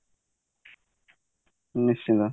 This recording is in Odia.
ନିଶ୍ଚିନ୍ତ